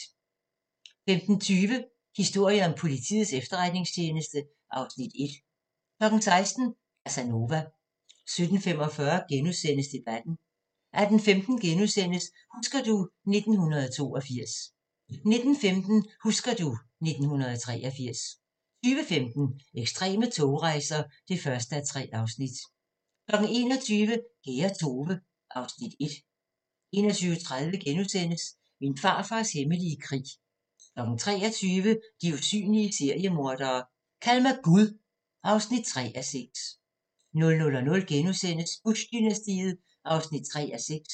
15:20: Historien om Politiets Efterretningstjeneste (Afs. 1) 16:00: Casanova 17:45: Debatten * 18:15: Husker du ... 1982 * 19:15: Husker du ... 1983 20:15: Ekstreme togrejser (1:3) 21:00: Kære Tove (Afs. 1) 21:30: Min farfars hemmelige krig * 23:00: De usynlige seriemordere: Kald mig Gud (3:6) 00:00: Bush-dynastiet (3:6)*